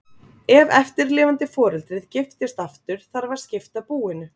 ef eftirlifandi foreldrið giftist aftur þarf að skipta búinu